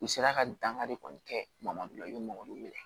N'i sera ka dankari kɔni kɛ mabɔla i bɛ mɔgɔ min minɛ